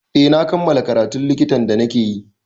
Eh na kammala karatun likitan da na ke yi